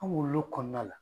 An wolo l'o kɔnɔna la.